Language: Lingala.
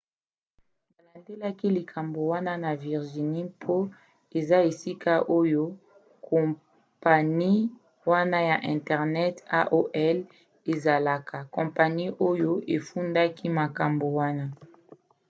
balandelaki likambo wana na virginie mpo eza esika oyo kompani wana ya internet aol ezalaka kompani oyo efundaki makambo wana